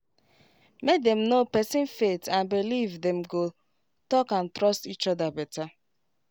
make dem know person faith and believe dem go talk and trust each other better